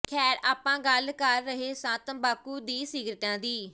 ਖੈਰ ਆਪਾਂ ਗੱਲ ਕਰ ਰਹੇ ਸਾਂ ਤੰਬਾਕੂ ਦੀ ਸਿਗਰਟਾਂ ਦੀ